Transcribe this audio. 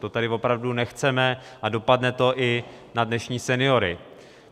To tady opravdu nechceme a dopadne to i na dnešní seniory.